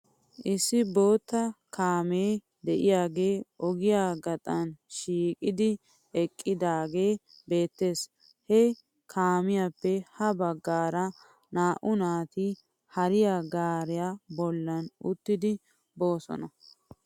Issi bootta kaamee de'iyaagee ogiyaa gaxxaa shiiqidi eqqidaagee beettes. He kaamiyaape ha bagaara naa'h naati hariyaa gaariyaa bolla uttidi boosona.